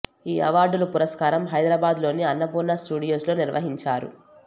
ఈ అవార్డుల పురస్కారం హైదరాబాద్ లోని అన్నపూర్ణ స్టూడియోస్ లో నిర్వహించారు